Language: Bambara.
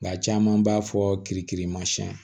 Nka caman b'a fɔ k'i kirimasiɲɛn